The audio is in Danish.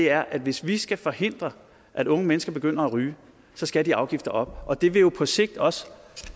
er at hvis vi skal forhindre at unge mennesker begynder at ryge skal de afgifter op og det vil jo på sigt også